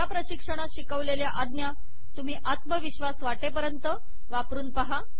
या प्रशिक्षणात शिकवलेल्या आज्ञा तुम्ही आत्मविश्वास वाटेपर्यंत वापरून पहा